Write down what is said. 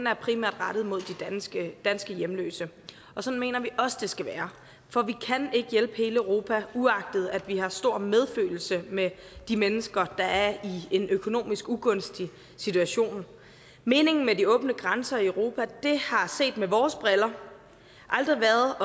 er primært rettet mod de danske hjemløse og sådan mener vi også det skal være for vi kan ikke hjælpe hele europa uagtet at vi har stor medfølelse med de mennesker der er i en økonomisk ugunstig situation meningen med de åbne grænser i europa har set med vores briller altid været